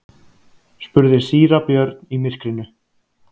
spurði síra Björn í myrkrinu.